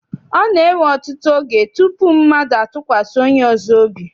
Ọ na-ewe ọtụtụ oge tutu mmadụ atụkwasị onye ọzọ obi.